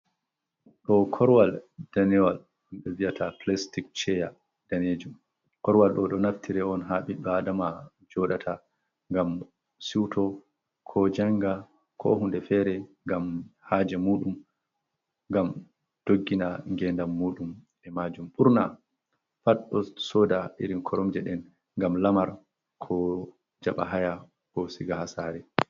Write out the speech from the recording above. Ɗo korwal danewal ɗum ɓe viyata plastic chaya danejum, korwal ɗo ɗo naftire on ha ɓiɗɗo adama joɗata ngam siuto, ko janga, ko hunde fere ngam haje muɗum, ngam doggina gendan muɗum e majum ɓurna pat ɗo soda irin koromje den ngam lamar, ko jaɓa haya ko siga ha sare.